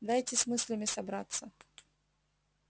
дайте с мыслями собраться